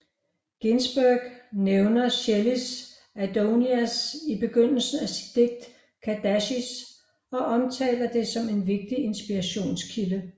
Ginsberg nævner Shelleys Adonais i begyndelsen af sit digt Kaddish og omtaler det som en vigtig inspirationskilde